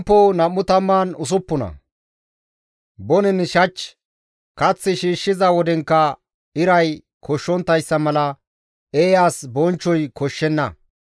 Bonen shach, kath shiishshiza wodenkka iray koshshonttayssa mala, eeyas bonchchoy koshshenna.